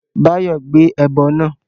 Báyọ̀ gbé ẹbọ náà